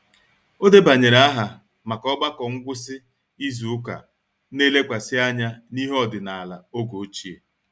O debanyere aha maka ogbako ngwụsị izu nke na-elekwasị anya n'ihe ọdịnala oge ochie